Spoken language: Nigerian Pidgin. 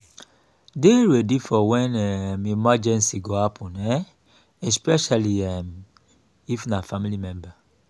dey ready for when um emergency go happen um especially um if na family member